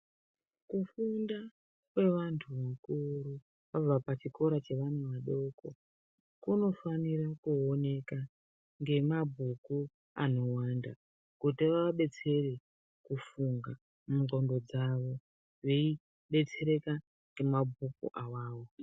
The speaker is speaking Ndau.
Kufunda kwevanhu vakuru pachikora chevana vadoko vanofana kuonekwa nemabhuku kuti ava detsere mukufunga mungonxo dzawo veidetsereka nemabhuku awawo.